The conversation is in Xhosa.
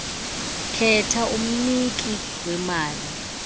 khetha umniki wemali